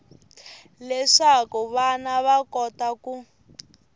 leswaku vana va kota ku